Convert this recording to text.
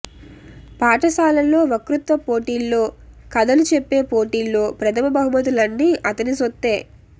పాఠశాలలో వక్తృత్వ పోటీల్లో కథలు చెప్పే పోటీల్లో ప్రథమ బహుమతులన్నీ అతని సొత్తే